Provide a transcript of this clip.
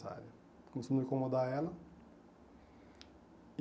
Começamos a incomodar ela.